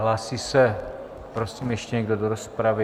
Hlásí se, prosím, ještě někdo do rozpravy?